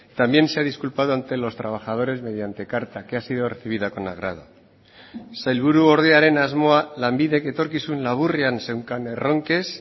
también se ha disculpado ante los trabajadores mediante carta que ha sido recibida con agrado sailburuordearen asmoa lanbidek etorkizun laburrean zeukan erronkez